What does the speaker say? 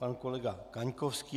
Pan kolega Kaňkovský.